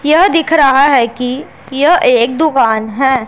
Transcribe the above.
यह दिख रहा हैं कि यह एक दुकान हैं।